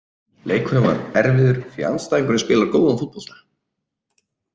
Leikurinn var erfiður því andstæðingurinn spilar góðan fótbolta.